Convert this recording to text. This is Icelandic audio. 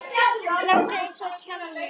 Láttu eins og kjáni.